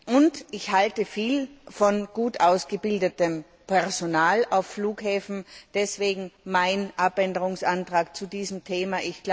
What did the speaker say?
Und ich halte viel von gut ausgebildetem Personal auf Flughäfen, deswegen mein Änderungsantrag zu diesem Thema.